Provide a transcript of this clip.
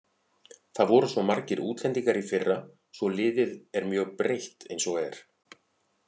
Það voru svo margir útlendingar í fyrra svo liðið er mjög breytt eins og er.